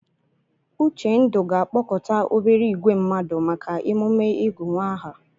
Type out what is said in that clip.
Uchendu ga-akpọkọta obere ìgwè mmadụ maka emume ịgụ nwa aha.